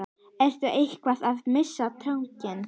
Ertu eitthvað að missa tökin?